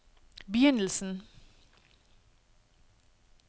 begynnelsen